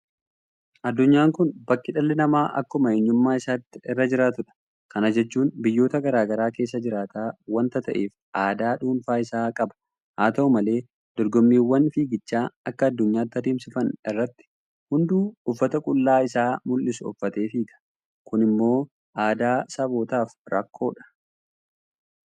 Addunyaan kun bakka dhalli namaa akkuma eenyummaa isaatti irra jiraatudha. Kana jechuun biyyoota garaa garaa keessa jiraata waanta ta'eef aadaa dhuunfaa isaa qaba. Haata'u malee dorgommiiwwan fiigichaa akka addunyaatti adeemsifaman irratti hunduu uffata qullaa isaa mul'isu uffatee fiiga. Kun immoo aadaa sabootaaf rakkoodha.